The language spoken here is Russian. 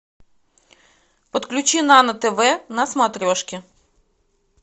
подключи нано тв на смотрешке